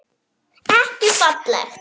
Ekki falleg.